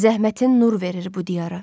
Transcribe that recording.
Zəhmətin nur verir bu diyara.